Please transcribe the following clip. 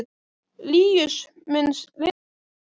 Líus, mun rigna í dag?